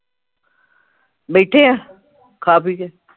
ਬੈਠੇ ਆ ਖਾ ਪੀਕੇ